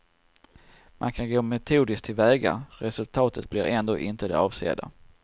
Man kan gå metodiskt till väga, resultatet blir ändå inte det avsedda.